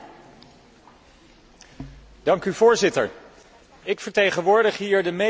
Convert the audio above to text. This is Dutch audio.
Ik vertegenwoordig hier de meest pro Europese partij van mijn land, Nederland.